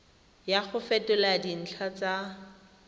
ya go fetola dintlha tsa